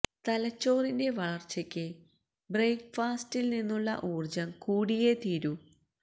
തലച്ചോറിന്റെ വളര്ച്ചയ്ക്ക് ബ്രേക്ക് ഫാസ്റ്റി ല് നിന്നുള്ള ഊര്ജം കൂടിയേ തീരൂ